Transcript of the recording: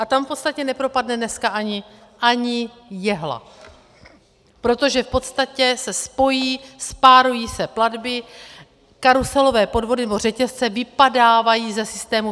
A tam v podstatě nepropadne dneska ani jehla, protože v podstatě se spojí, spárují se platby, karuselové podvody nebo řetězce vypadávají ze systému